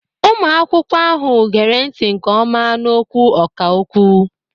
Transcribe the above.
Ụmụ akwụkwọ ahụ gere ntị nke ọma n'okwu ọkà okwu.